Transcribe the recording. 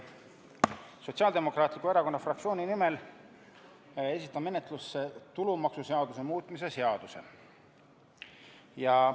Sotsiaaldemokraatliku Erakonna fraktsiooni nimel esitan menetlusse tulumaksuseaduse muutmise seaduse eelnõu.